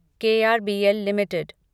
KRBL limited